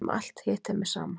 Um alt hitt er mér sama.